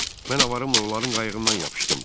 Mən avarımla onların qayığından yapışdım.